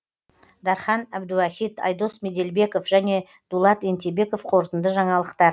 дархан әбдуахит айдос меделбеков және дулат ентебеков қорытынды жаңалықтар